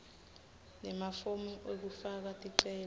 nemafomu ekufaka ticelo